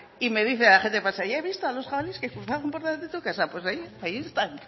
y me dice la gente ya has visto a los jabalíes que cruzan por delante de tu casa pues ahí están